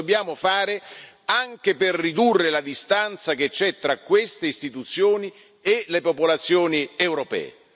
Lo dobbiamo fare anche per ridurre la distanza che c'è tra queste istituzioni e le popolazioni europee.